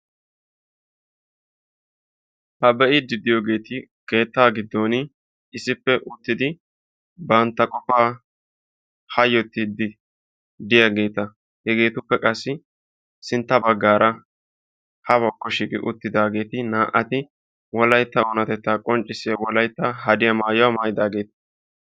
ha be'iidi diyoogeeti keettaa giddon issippe uttidi bantta qofaa hayotiidi diyaageeta. hegeetuppe qassi sintta bagaara uttidaageeti wolaytta oonatettaa qonccisiya hadiya maayidaageeta.